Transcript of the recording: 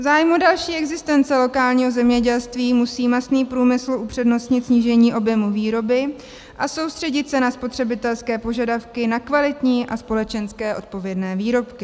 V zájmu další existence lokálního zemědělství musí masný průmysl upřednostnit snížení objemu výroby a soustředit se na spotřebitelské požadavky na kvalitní a společensky odpovědné výrobky.